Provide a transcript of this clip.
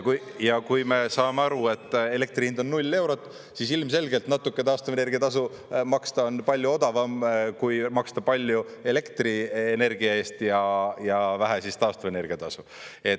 Ja kui me saame aru, et elektri hind on null eurot, siis ilmselgelt natuke taastuvenergia tasu maksta on palju odavam, kui maksta palju elektrienergia eest ja vähe taastuvenergia tasu.